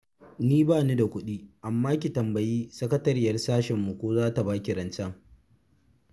Ni ba ni da kuɗi, amma ki tambayi sakatariyar sashenmu ko za ta ba ki rancen